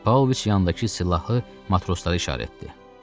Paoviç yanındakı silahı matroslara işarət etdi.